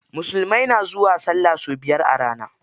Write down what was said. Musulmai na zuwa sallah sau biyar a rana.